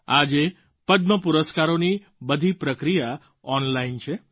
આજે પદ્મ પુરસ્કારોની બધી પ્રક્રિયા ઑનલાઇન છે